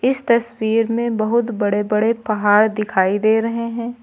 इस तस्वीर में बहुत बड़े बड़े पहाड़ दिखाई दे रहे हैं।